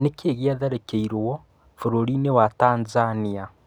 Nĩkĩĩ gĩatharĩkĩirwo bũrũri wa Tanzania?